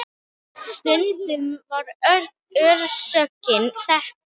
Stundum var orsökin þekkt.